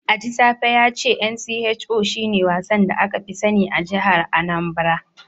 Ajisafe ya ce Ncho shine wasan da aka fi sani a jihar Anambra.